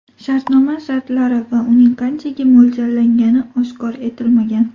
Shartnoma shartlari va uning qanchaga mo‘ljallangani oshkor etilmagan.